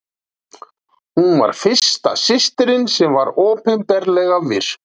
hún var fyrsta systirin sem var opinberlega virk